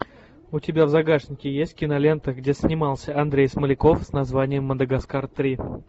у тебя в загашнике есть кинолента где снимался андрей смоляков с названием мадагаскар три